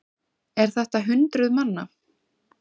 Er þetta hundruð manna?